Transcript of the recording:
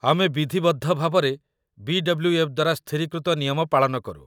ଆମେ ବିଧିବଦ୍ଧ ଭାବରେ ବି.ଡବ୍ଲୁ.ଏଫ୍. ଦ୍ୱାରା ସ୍ଥିରୀକୃତ ନିୟମ ପାଳନ କରୁ